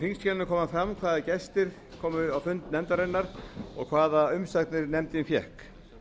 í þingskjalinu kemur fram hvaða gestir komu á fund nefndarinnar og hvaða umsagnir nefndin fékk